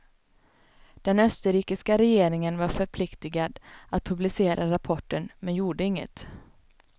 Den österrikiska regeringen var förpliktigad att publicera rapporten, men gjorde inget.